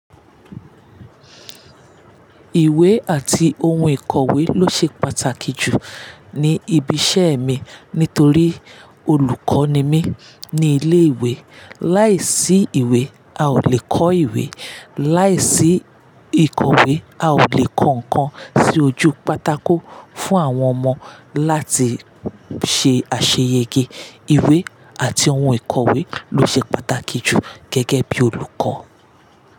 Ìwé àti ohun ìkòwé ló ṣe pàtàkì jù ní ibi iṣẹ́ mi nítorí olùkọ́ ni mí ní ilé ìwé. Láìsí ìwé, a ò lè kọ́ ìwé, láìsí ìkòwé, a ò lè kọ ǹkan sí ojú pátákó fún àwọn ọmọ láti ṣe àṣeyẹge. Ìwé àti ohun ìkòwé ló ṣe pàtàkì jù gẹ́gẹ́ bí olùkọ́